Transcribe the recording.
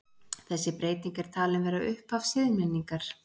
Þessi breyting er talin vera upphaf siðmenningarinnar.